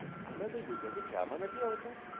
હમણાં કોઈ ગુજરાતી drama થી આવતા?